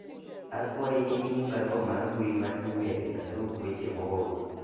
akwayi ni ing'i barua mar mbui mar email e sandug weche moor